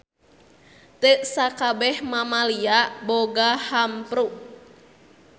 Teu sakabeh mamalia boga hampru.